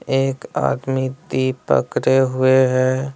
एक आदमी दीप पकरे हुए है।